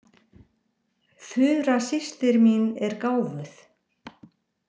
Þura systir mín er gáfuð.